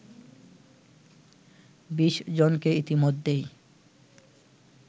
২০জনকে ইতিমধ্যেই